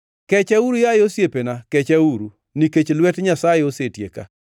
“Kechauru, yaye osiepena, kechauru, nikech lwet Nyasaye osetieka.